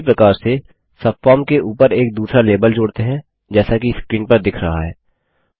उसी प्रकार से सबफॉर्म के ऊपर एक दूसरा लेबल जोड़ते हैं जैसा कि स्क्रीन पर दिख रहा है